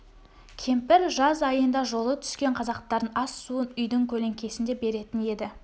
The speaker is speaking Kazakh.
кемпір жаз айында жолы түскен қазақтардың ас-суын үйдің көлеңкесінде беретін еді